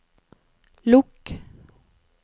lukk